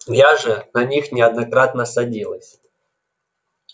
я же на них неоднократно садилась